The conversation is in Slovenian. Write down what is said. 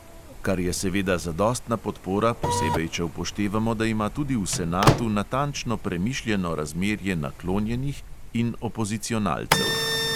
Kar je seveda zadostna podpora, posebej če upoštevamo, da ima tudi v senatu natančno premišljeno razmerje naklonjenih in opozicionalcev.